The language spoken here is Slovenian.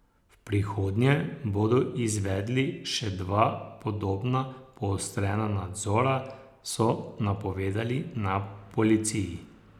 V prihodnje bodo izvedli še dva podobna poostrena nadzora, so napovedali na policiji.